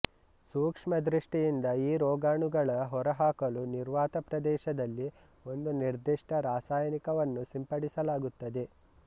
ಸೂಕ್ಷ್ಮ ದೃಷ್ಟಿಯಿಂದ ಈ ರೋಗಾಣುಗಳ ಹೊರಹಾಕಲು ನಿರ್ವಾತ ಪ್ರದೇಶದಲ್ಲಿ ಒಂದು ನಿರ್ಧಿಷ್ಟ ರಾಸಾಯನಿಕವನ್ನು ಸಿಂಪಡಿಸಲಾಗುತ್ತದೆ